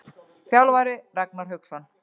Þjálfari: Ragnar Hauksson.